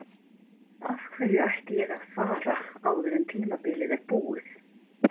Af hverju ætti ég að fara áður en tímabilið er búið?